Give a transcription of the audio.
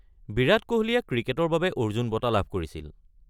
বিৰাট কোহলীয়ে ক্ৰিকেটৰ বাবে অৰ্জুন বঁটা লাভ কৰিছিল।